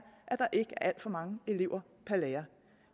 alt for mange elever per lærer